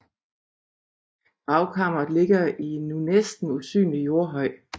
Gravkammeret ligger i en nu næsten usynlig jordhøj